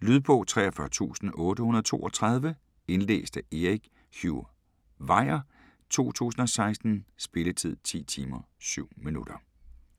Lydbog 43832 Indlæst af Erik Hugh Weir, 2016. Spilletid: 10 timer, 7 minutter.